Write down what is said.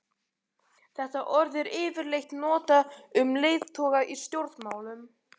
Þetta orð er yfirleitt notað um leiðtoga í stjórnmálum.